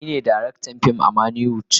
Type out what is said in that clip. Ni ne darektan fim a manny wood.